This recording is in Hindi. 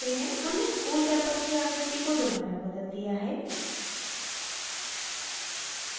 हमने school campus की आकृति को दोबारा बदल दिया है